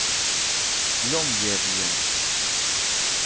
Longyearbyen